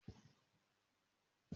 Mo máa ra edé lọ́dọ̀ ìyá elédé.